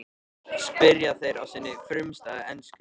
spyrja þeir á sinni frumstæðu ensku.